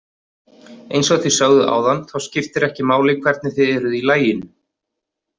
Eins og þið sögðuð áðan þá skiptir ekki máli hvernig þið eruð í laginu.